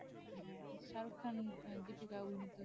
শাহরুখ আহ খান দীপিকা অভিনীত